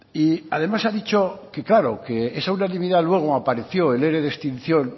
y además ha dicho que claro que esa unanimidad luego apareció el ere de extinción